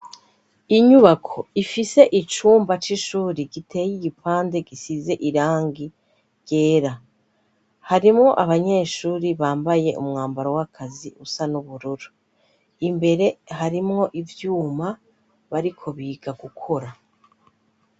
inyubako ifise icumba c'ishuri giteye igipande gisize irangi ryera harimwo abanyeshuri bambaye umwambaro w'akazi usa n'ubururu imbere harimwo ivyuma bariko biga gukora